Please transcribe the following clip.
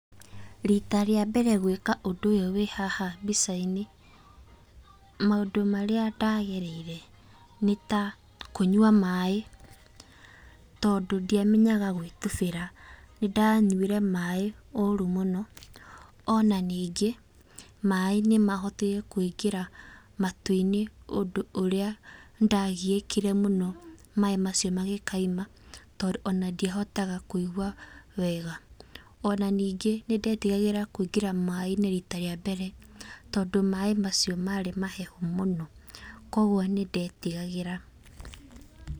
Rita rĩa mbere gwĩka ũndũ ũyũ wĩ haha mbica-inĩ, maũndũ marĩa ndagereire nĩ ta kũnyua maĩ tondũ ndiamenyaga gwĩtubĩra nĩ ndanyuire maĩ ũru mũno, o na ningĩ maĩ nĩ mahotire kũingĩra matũ-inĩ ũndũ ũrĩa nĩndagiĩkire mũno maĩ macio mangĩkauma, tondũ ona ndiahotaga kũigua wega, o na ningĩ nĩ ndetigagĩra kũingĩra maĩ-inĩ rita rĩa mbere tondũ maĩ macio marĩ mahehu mũno kũguo nĩ ndetigagĩra.